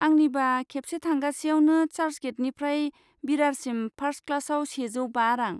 आंनिबा खेबसे थांगासेयावनो चार्चगेटनिफ्राय बिरारसिम फार्स्ट क्लासआव सेजौ बा रां।